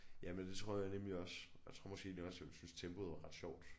Jamen det tror jeg nemlig også og jeg tror måske egentlig også jeg ville synes tempoet var ret sjovt